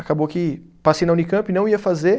Acabou que passei na Unicampi e não ia fazer.